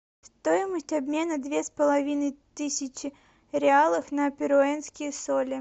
стоимость обмена две с половиной тысячи реалов на перуанские соли